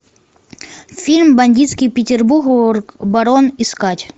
фильм бандитский петербург барон искать